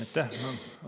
Aitäh!